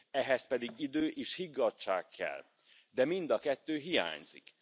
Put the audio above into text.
Ehhez pedig idő és higgadtság kell, de mind a kettő hiányzik.